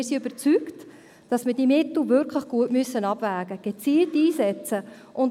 Wir sind überzeugt, dass wir diese Mittel wirklich gut abwägen und gezielt einsetzen müssen.